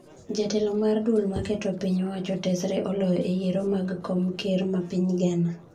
Jatelo mar duol ma keto piny owacho tesre oloyo e yiero mag kom ker ma piny Ghana